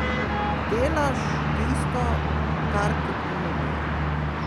Delaš tisto, kar ti ponudijo.